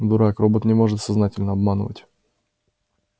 дурак робот не может сознательно обманывать